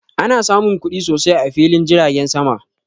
Ana samun kuɗi sosai a filin jiragen sama